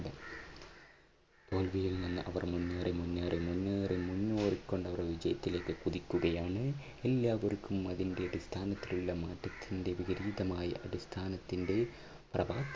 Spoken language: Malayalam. തോൽവിയിൽ നിന്ന് അവർ മുന്നേറി മുന്നേറി മുന്നേറി മുന്നേറി കൊണ്ടവർ വിജയത്തിലേക്ക് കുതിക്കുകയാണ്. എല്ലാവർക്കും അതിൻറെ അടിസ്ഥാനത്തിലുള്ള മാറ്റത്തിന്റെ വിപരീതമായ അടിസ്ഥാനത്തിന്റെ പ്രഭ